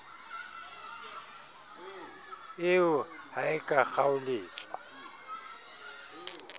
eo ha e ka kgaoletswa